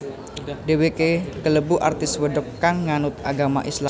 Dhéwéké kalebu artis wedok kang nganut agama Islam